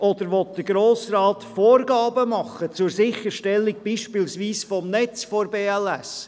Oder will der Grosse Rat Vorgaben machen, etwa zur Sicherstellung des Netzes der BLS AG?